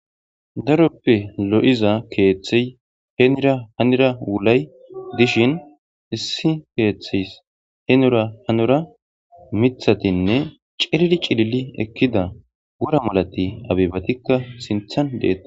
daroppe lo7iza keeththey heenira hanira wulay dishin issi keeththiys heenura hanora mithatinne cilili cilili ekkida wura malati abibatikka sinthan deetta